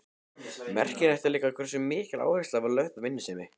Merkilegt er líka hversu mikil áhersla var lögð á vinnusemi.